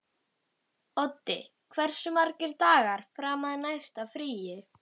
Oddi, hversu margir dagar fram að næsta fríi?